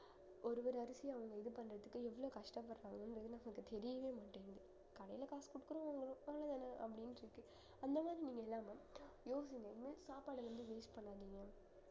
ஒரு ஒரு அரிசியும் அவங்க இது பண்றதுக்கு எவ்வளவு கஷ்டப்படுறாங்கன்னு தெரியவேமாட்டேங்குது கடையில காசு குடுத்தா அப்படின்னு சொல்லிட்டு அந்த மாதிரிலாம் நீங்க இல்லாம யோசிங்க இனிமே சாப்பாடு வந்து waste பண்ணாதீங்க